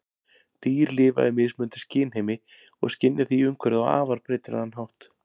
Dýr lifa í mismunandi skynheimi og skynja því umhverfið á afar breytilegan hátt.